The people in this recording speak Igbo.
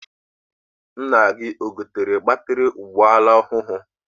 Nna gị egotere batịrị ụgbọala ọhụụ?